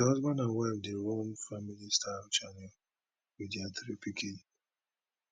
di husband and wife dey run family style channel wit dia three pikin dem